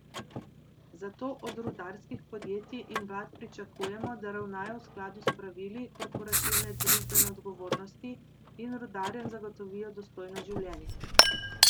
Zato od rudarskih podjetij in vlad pričakujemo, da ravnajo v skladu s pravili korporativne družbene odgovornosti in rudarjem zagotovijo dostojno življenje.